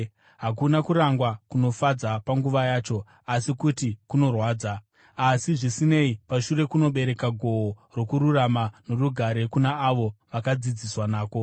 Hakuna kurangwa kunofadza panguva yacho, asi kuti kunorwadza. Asi, zvisinei, pashure kunobereka gohwo rokururama norugare kuna avo vakadzidziswa nako.